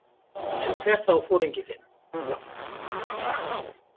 En hver þá foringi þinn?